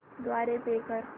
द्वारे पे कर